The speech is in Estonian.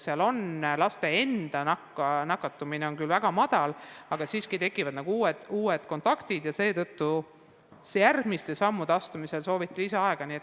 Laste enda nakatumine on küll väga väike, aga siiski tekivad uued kontaktid ja seetõttu sooviti järgmiste sammude astumiseks lisaaega.